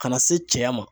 Ka na se cɛya ma